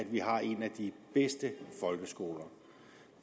at vi har en af de bedste folkeskoler